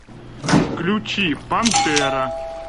включи пантера